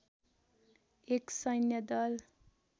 एक सैन्य दल